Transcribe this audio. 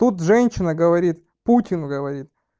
тут женщина говорит путин говорит